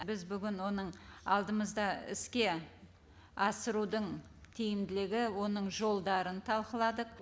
біз бүгін оның алдымызда іске асырудың тиімділігі оның жолдарын талқыладық